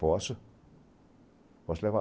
Posso posso te levar lá.